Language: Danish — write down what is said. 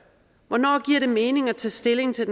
hvornår giver det mening at tage stilling til